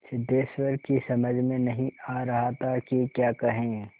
सिद्धेश्वर की समझ में नहीं आ रहा था कि क्या कहे